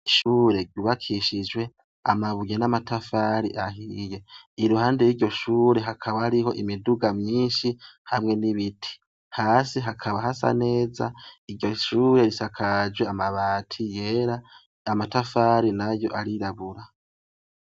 Ishure ryubakishijwe amabuye namatafari ahiye iruhande yiryo shure hakaba hariho imiduga nyinshi hamwe nibiti hasi hakaba hasa neza hejuru hasakajwe amabati yera amatafari nayo arirabura